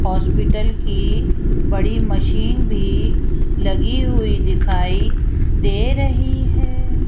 Hospital की बड़ी machine भी लगी हुई दिखाई दे रही है।